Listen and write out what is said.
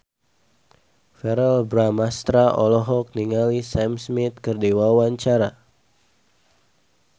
Verrell Bramastra olohok ningali Sam Smith keur diwawancara